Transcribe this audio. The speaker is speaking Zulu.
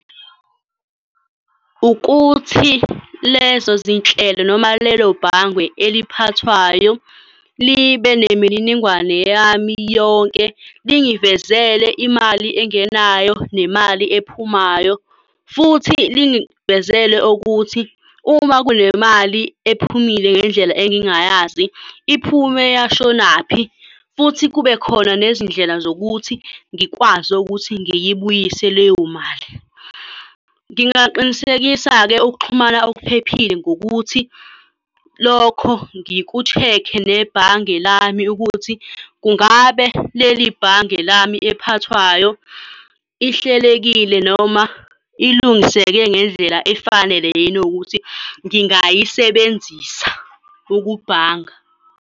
Ukuthi lezo zinhlelo noma lelo bhange eliphathwayo libe nemininingwane yami yonke, lingivezele imali engenayo nemali ephumayo. Futhi lingivezele ukuthi uma kunemali ephumile ngendlela engingayazi, iphume yashonaphi. Futhi kube khona nezindlela zokuthi ngikwazi ukuthi ngiyibuyise leyo mali. Ngingaqinisekisa-ke ukuxhumana okuphephile ngokuthi lokho ngiku-check-e nebhange lami ukuthi kungabe leli bhange lami ephathwayo ihlelekile noma ilungiseke ngendlela efanele yini ukuthi ngingayisebenzisa ukubhanga.